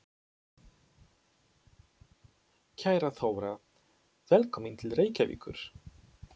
Kæra Þóra. Velkomin til Reykjavíkur.